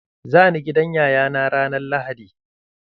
Za ni gidan yaya na ranar lahadi.